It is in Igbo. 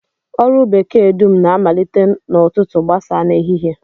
Ọrụ bekee dum na-amalite n'ụtụtụ gbasaa n'ehihie